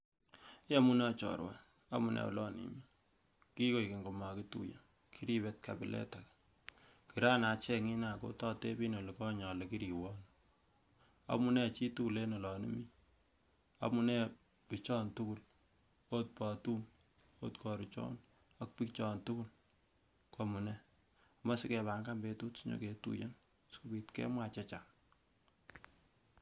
Iyomunee ooh chorua amunee olon imii, kikoik keny komokituiye kiripet kabilet age kiran achenging nia kototepin olikonye ale kiriwe ano, amunee chitugul en olon imii amunee bichon tugul amunee ot botum, ot koruchon ak bichon tugul kwomunee amoe sikepangat betut sinyoketuiyen sipit kemwaa chechang.